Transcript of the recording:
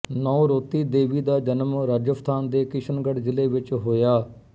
ਨੌਰੋਤੀ ਦੇਵੀ ਦਾ ਜਨਮ ਰਾਜਸਥਾਨ ਦੇ ਕਿਸ਼ਨਗੜ ਜਿਲ੍ਹੇ ਵਿੱਚ ਹੋਇਆ